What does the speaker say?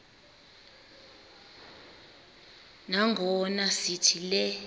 nangona sithi le